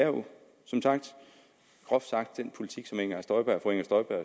jo groft sagt den politik som fru inger støjberg